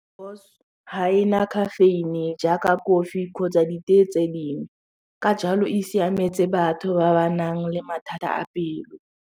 Ga e na caffeine-e jaaka kofi kgotsa ditee tse dingwe ka jalo e siametse batho ba ba nang le mathata a pelo.